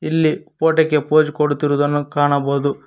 ಇಲ್ಲಿ ಫೋಟೋ ಕ್ಕೆ ಪೋಸ್ ಕೊಡುತ್ತಿರುವುದನ್ನು ಕಾಣಬಹುದು.